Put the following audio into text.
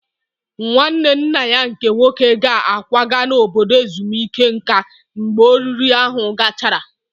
Nwanne nna ya nke nwoke ga-akwaga n'obodo ezumike nka mgbe oriri ahụ gachara